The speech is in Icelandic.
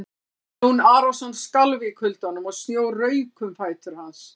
Jón Arason skalf í kuldanum og snjór rauk um fætur hans.